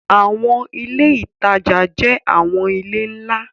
Awọn ile itaja jẹ awọn ile nla